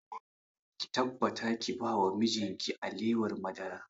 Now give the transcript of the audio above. Ki tabbata ki ba wa mijin ki alewar madara!